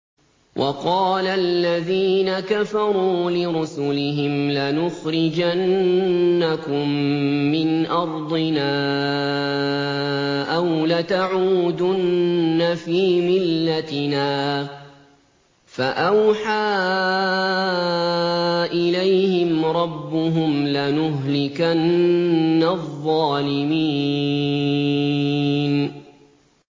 وَقَالَ الَّذِينَ كَفَرُوا لِرُسُلِهِمْ لَنُخْرِجَنَّكُم مِّنْ أَرْضِنَا أَوْ لَتَعُودُنَّ فِي مِلَّتِنَا ۖ فَأَوْحَىٰ إِلَيْهِمْ رَبُّهُمْ لَنُهْلِكَنَّ الظَّالِمِينَ